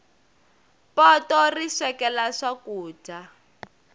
poto ri swekela swakudya